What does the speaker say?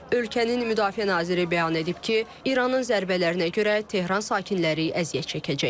Ölkənin Müdafiə naziri bəyan edib ki, İranın zərbələrinə görə Tehran sakinləri əziyyət çəkəcək.